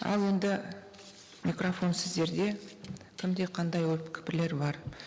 ал енді микрофон сіздерде кімде қандай ой пікірлер бар